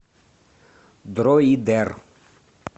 дроидер